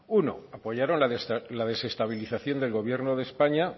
uno apoyaron la desestabilización del gobierno de españa